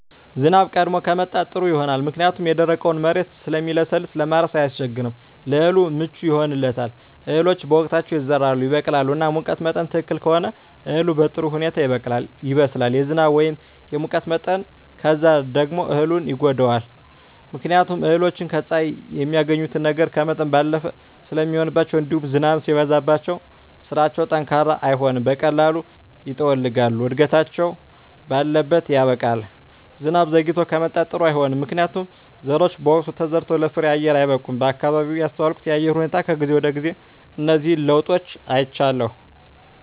ዝናብ ቀድሞ ከመጣ ጥሩ ይሆናል ምክንያቱም የደረቀዉ መሬት ስለሚለሰልስ ለማረስ አያስቸግርም ለእህሉ ምቹ ይሆንለታል እህሎች በወቅታቸዉ ይዘራሉ ይበቅላሉ እና ሙቀት መጠን ትክክል ከሆነ እህሉ በጥሩ ሁኔታ ይበቅላል ይበስላል የዝናብ ወይም የሙቀት መጠን ከበዛ ደግሞ እህሉን ይጎዳዋል ምክንያቱም እህሎች ከፀሐይ የሚያገኙትን ነገር ከመጠን ባለፈ ስለሚሆንባቸዉእንዲሁም ዝናብም ሲበዛባቸዉ ስራቸዉ ጠንካራ አይሆንም በቀላሉ ይጠወልጋሉ እድገታቸዉ ባለት ያበቃል ዝናብ ዘይግቶ ከመጣም ጥሩ አይሆንም ምክንያቱም ዘሮች በወቅቱ ተዘርተዉ ለፍሬየአየር አይበቁም በአካባቢየ ያስተዋልኩት የአየር ሁኔታ ከጊዜ ወደጊዜ እነዚህን ለዉጦች አይቻለሁ